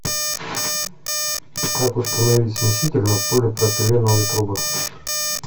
как установить смеситель на полипропиленовые трубы